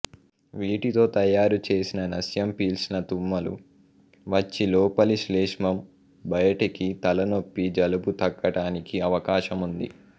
వీటితో తయారుచేసిన నస్యం పీల్చిన తుమ్మలు వచ్చి లోపలి శ్లేష్మం బయటికి తలనొప్పి జలుబు తగ్గటానికి అవకాశముంది